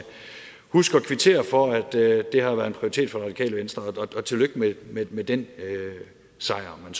huske at kvittere for at det har været en prioritet for det radikale venstre og tillykke med den sejr om